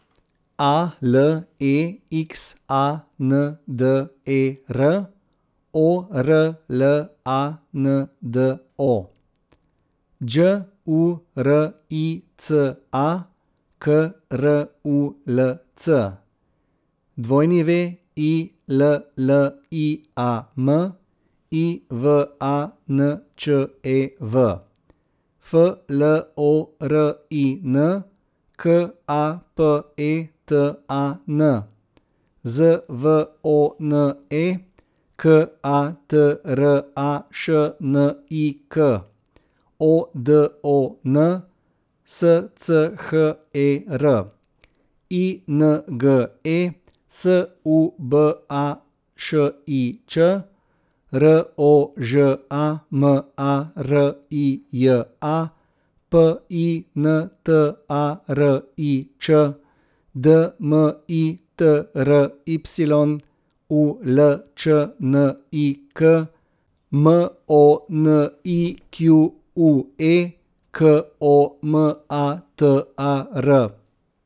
A L E X A N D E R, O R L A N D O; Đ U R I C A, K R U L C; W I L L I A M, I V A N Č E V; F L O R I N, K A P E T A N; Z V O N E, K A T R A Š N I K; O D O N, S C H E R; I N G E, S U B A Š I Ć; R O Ž A M A R I J A, P I N T A R I Č; D M I T R Y, U L Č N I K; M O N I Q U E, K O M A T A R.